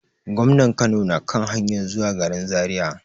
Gwamnan Kano na kan hanyar zuwa garin Zariya.